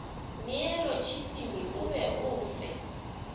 neolotšisimi o be o fe